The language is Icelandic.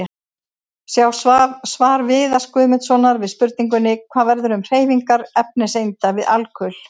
Sjá svar Viðars Guðmundssonar við spurningunni: Hvað verður um hreyfingar efniseinda við alkul?